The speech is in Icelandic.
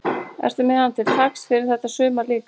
Ertu með hann til taks fyrir þetta sumar líka?